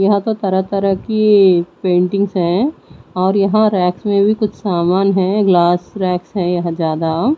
यहां तो तरह तरह की पेंटिंग्स है और यहां रेक्स में भी कुछ सामान है। ग्लास रैंक्स है या ज्यादा--